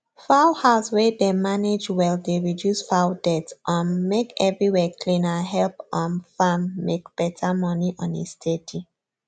fowl house wey dem manage well dey reduce fowl death um make everywhere clean and help um farm make better money on a steady